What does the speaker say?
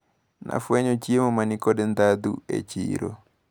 Nafwenyo chiemo manikod ndhadhu e chiro.